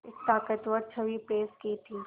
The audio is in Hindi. एक ताक़तवर छवि पेश की थी